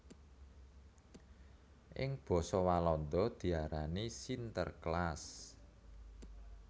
Ing basa Walanda diarani Sinterklaas